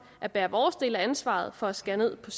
at bære vores del af ansvaret for at skære ned på